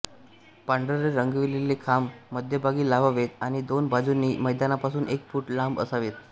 पांढरे रंगविलेले खांब मध्यभागी लावावेत आणि दोन्ही बाजूंनी मैदानापासून एक फूट लांब असावेत